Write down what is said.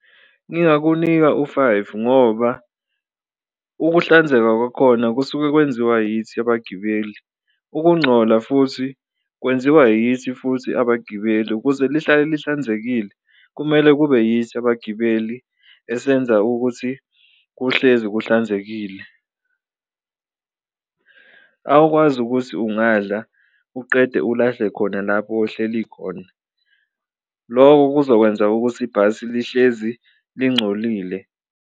Ngingakunika u-five ngoba ukuhlanzeka kwakhona kusuke kwenziwa yithi abagibeli, ukungcola futhi kwenziwa yithi futhi abagibeli, ukuze lihlale lihlanzekile kumele kube yithi abagibeli esenza ukuthi kuhlezi kuhlanzekile. Awukwazi ukuthi ungadla uqede ulahle khona lapho ohleli khona loko kuzokwenza ukuthi ibhasi lihlezi lincolile.